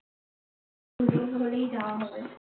যাওয়া হবে